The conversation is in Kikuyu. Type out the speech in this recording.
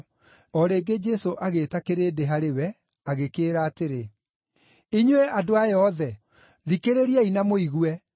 O rĩngĩ Jesũ agĩĩta kĩrĩndĩ harĩ we agĩkĩĩra atĩrĩ, “Inyuĩ andũ aya othe, thikĩrĩriai na mũigue.